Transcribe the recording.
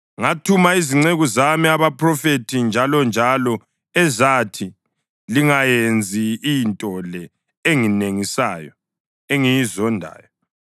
Ngathuma izinceku zami, abaphrofethi, njalonjalo ezathi, ‘Lingayenzi into le enengisayo engiyizondayo!’